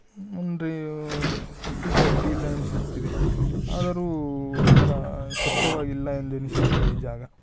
ಮುಂದೆ ಮಟ್ಟಿಗೆ ಅಡ್ಡಿಲ್ಲ ಅನಿಸುತ್ತಿದೆ ಆದರೂ ಒಂತರ ಸ್ವಚ್ಛವಾಗಿಲ್ಲಎಂದೆನಿಸುತ್ತಿದೆ ಈ ಜಾಗ.